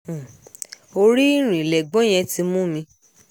orí ìrìn lẹ̀gbọ́n yẹn ti mú mi